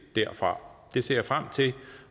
derfra det ser jeg frem til